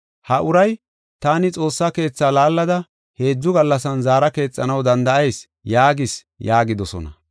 “Ha uray, ‘Taani Xoossa Keetha laallada heedzu gallasan zaara keexanaw danda7ayis’ yaagis” yaagidosona.